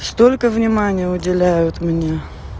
столько внимания уделяют мне